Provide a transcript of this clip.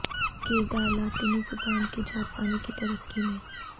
کردار لاطینی زبان کے جاپانی کی ترقی میں